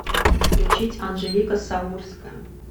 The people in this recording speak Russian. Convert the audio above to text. включить анжелика саурская